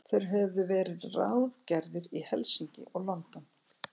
Þeir höfðu verið ráðgerðir í Helsinki og London.